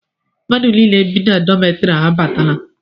Mmadụ nile bi na dọmetiri abatala